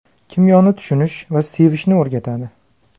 Kimyoni tushunish va sevishni o‘rgatadi.